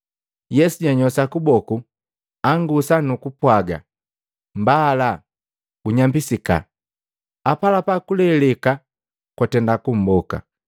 Yesu janyoosha kuboku, angusa nukupwaga, “Mbala! Gunyambisika!” Apalapa kuleleka kwatenda kumboka.